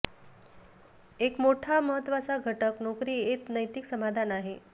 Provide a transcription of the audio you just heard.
एक मोठा महत्वाचा घटक नोकरी येत नैतिक समाधान आहे